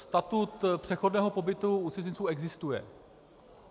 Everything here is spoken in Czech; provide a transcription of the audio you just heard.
Statut přechodného pobytu u cizinců existuje.